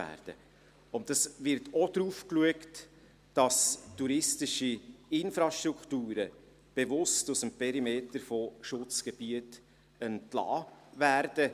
Es wird auch bewusst darauf geschaut, dass touristische Infrastrukturen aus dem Perimeter der Schutzgebiete entlassen werden.